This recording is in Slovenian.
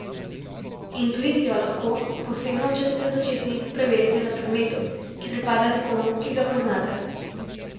Intuicijo lahko, posebno če ste začetnik, preverite na predmetu, ki pripada nekomu, ki ga poznate.